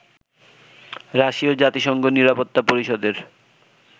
রাশীয় জাতিসংঘ নিরাপত্তা পরিষদের